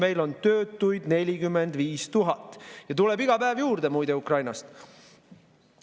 Meil on töötuid 45 000 ja tuleb iga päev Ukrainast juurde.